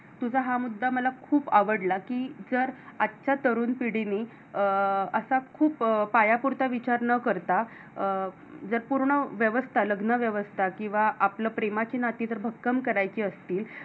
तुझा हा मुद्दा मला खूप आवडला की जर आजच्या तरुण पिढीनी अं अश्या खूप पाया पुढचा विचार न करता जर पूर्ण व्यवस्था लग्नव्यवस्था कींवा आपल प्रेमाची नाती जर भक्कम करायची असतील.